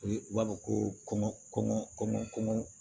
U ye u b'a fɔ ko kɔmɔ kɔngɔ kɔmi kɔmɔ